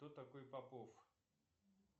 кто такой попов